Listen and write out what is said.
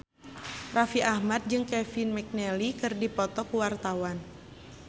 Raffi Ahmad jeung Kevin McNally keur dipoto ku wartawan